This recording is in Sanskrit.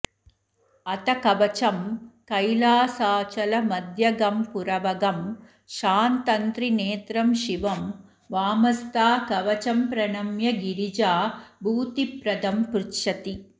अथ कवचम् कैलासाचलम्ध्यगम्पुरवहं शान्तन्त्रिनेत्रं शिवं वामस्था कवचम्प्रणम्य गिरिजा भूतिप्रदम्पृच्छति